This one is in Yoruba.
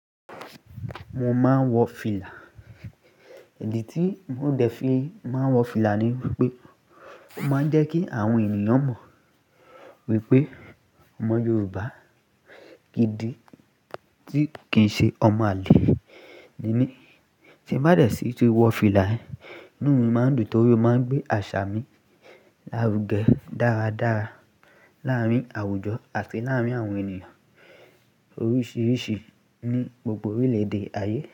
Mo máa ń wọ fìlà. Idi tí mo dẹ̀ fí máa ń wọ fìlà ni wípé, ó máa ń jẹ́ kí àwọn ènìyàn mọ̀ wípé ọmọ Yorùbá gidi tí kì ń ṣe ọmọ àlè ni mí. Tí m bá dẹ̀ sí ti wọ fìlà, inú mi máa ń dùn torí ó máa ń gbé àṣà mi lárugẹ dáradára láàárín àwùjọ àti láàárín àwọn ènìyàn oríṣiríṣi ní gbogbo orílẹ̀ èdè ayé.